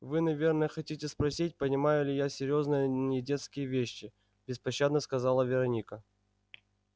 вы наверное хотите спросить понимаю ли я серьёзные недетские вещи беспощадно сказала вероника